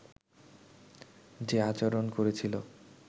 যে আচরণ করেছিল